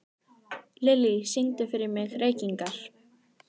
Lilly, syngdu fyrir mig „Reykingar“.